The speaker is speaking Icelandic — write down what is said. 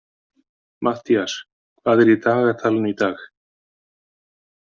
Matthías, hvað er í dagatalinu í dag?